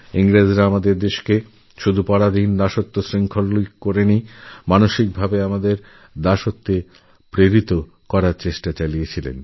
ইংরেজরা ভারতীয়দের সেসময়ে শুধুই শারীরিক ভাবেই নয় মানসিকভাবেও গোলামি ও দাসত্ব মানতে বাধ্য করার চেষ্টা করেছিল